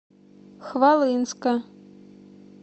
хвалынска